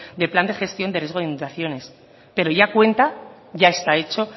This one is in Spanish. de plan de gestión de riesgo de inundaciones pero ya cuenta ya está hecho